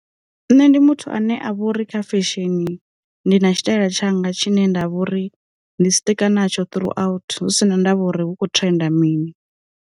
Nṋe ndi muthu ane a vha uri kha fesheni, ndi na tshitaela tshanga tshine nda vhori ndi siṱika na tsho throughout husina ndavha uri hu kho trenda mini.